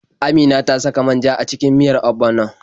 Amina ta saka man ja a cikin miyar ogbono.